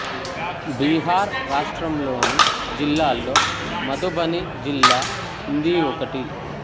బీహార్ రాష్ట్రం లోని జిల్లాల్లో మధుబని జిల్లా హిందీ ఒకటి